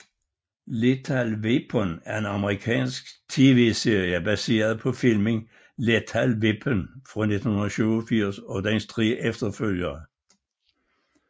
Lethal Weapon er en amerikansk tvserie baseret på filmen Lethal Weapon fra 1987 og dens tre efterfølgere